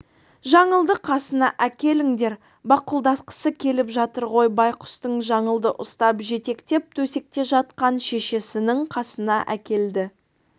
жаңылды қасына әкеліңдер бақұлдасқысы келіп жатыр ғой байғұстың жаңылды ұстап жетектеп төсекте жатқан шешесінің қасына әкелді